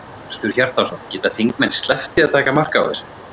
Hjörtur Hjartarson: Geta þingmenn sleppt því að taka mark á þessu?